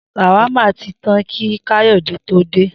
S̩àwámà ti tán kí Káyò̩dé tó dé